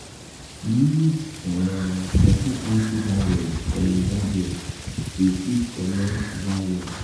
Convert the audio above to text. use um better anti virus for your gadget um to fit comot um virus